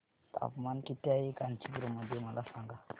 तापमान किती आहे कांचीपुरम मध्ये मला सांगा